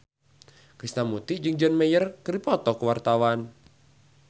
Krishna Mukti jeung John Mayer keur dipoto ku wartawan